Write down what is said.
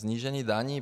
Snížení daní.